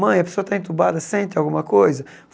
Mãe, a pessoa está entubada, sente alguma coisa?